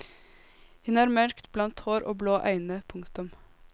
Hun har mørk blondt hår og blå øyne. punktum